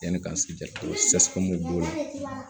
Yanni ka se jɛ o b'o la